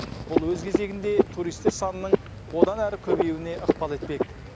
бұл өз кезегінде туристер санының одан әрі көбеюіне ықпал етпек